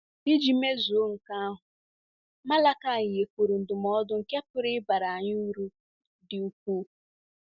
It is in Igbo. Iji mezuo nke ahụ, Malakaị nyekwuru ndụmọdụ nke pụrụ ịbara anyị uru dị ukwuu.